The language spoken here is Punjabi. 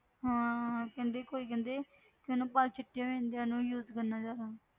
ਹਾਂ ਕਹਿੰਦੇ ਕੋਈ ਕਹਿੰਦੇ ਕਿ ਨਾ ਵਾਲ ਚਿੱਟੇ ਹੋ ਜਾਂਦੇ ਆ ਇਹਨੂੰ use ਕਰਨ ਨਾਲ ਜ਼ਿਆਦਾ।